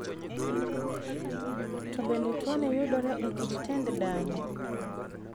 To bende tuoni yudore e kit tend dahno?